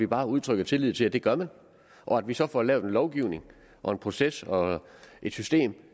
bare udtrykker tillid til at det gør man og at vi så får lavet en lovgivning og en proces og et system